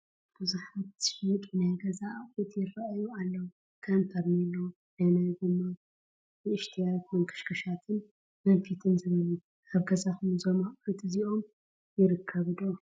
ብዙሓት ዝሽየጡ ናይ ገዛ ኣቑሑት ይራኣዩ ኣለው፡፡ ከም ፌርኔሎ፣ ናይ ማይ ጎማ፣ ንእሽተያት መንከሽከሻትን መንፊትን ዝበሉ፡፡ ኣብ ገዛኹም እዞም ኣቑሑት እዚኦም ይርከቡ ዶ?